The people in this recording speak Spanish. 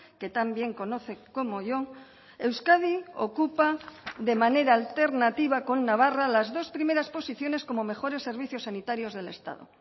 que también conoce como yo euskadi ocupa de manera alternativa con navarra las dos primeras posiciones como mejores servicios sanitarios del estado